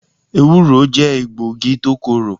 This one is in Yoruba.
Ewúro jẹ́ egbògi tó korò.